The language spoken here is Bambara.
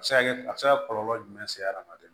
A bɛ se ka kɛ a bɛ se ka kɔlɔlɔ jumɛn se hadamaden ma